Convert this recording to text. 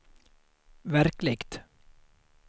verkligt